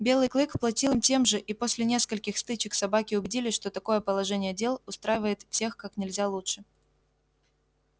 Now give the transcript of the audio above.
белый клык платил им тем же и после нескольких стычек собаки убедились что такое положение дел устраивает всех как нельзя лучше